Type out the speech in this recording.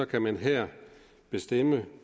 kan man her bestemme